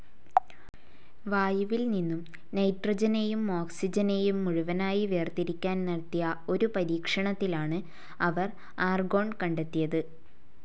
വായുവിൽ നിന്നും നൈട്രജനെയും ഓക്സിജനെയും മുഴുവനായി വേർതിരിക്കാൻ നടത്തിയ ഒരു പരീക്ഷണത്തിലാണ് അവർ ആർഗോൺ കണ്ടെത്തിയത്.